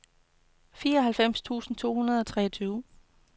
femoghalvfems tusind to hundrede og treogtyve